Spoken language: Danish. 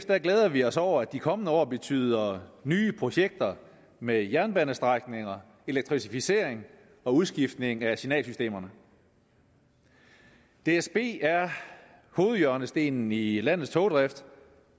glæder vi os over at de kommende år betyder nye projekter med jernbanestrækninger elektrificering og udskiftning af signalsystemerne dsb er hovedhjørnestenen i i landets togdrift